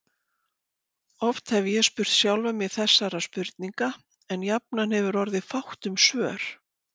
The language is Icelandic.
Oft hef ég spurt sjálfan mig þessara spurninga, en jafnan hefur orðið fátt um svör.